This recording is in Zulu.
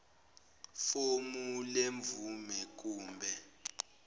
fomu lemvume kumbe